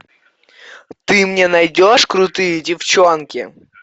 ты мне найдешь крутые девчонки